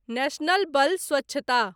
national बल स्वच्छता